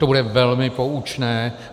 To bude velmi poučné.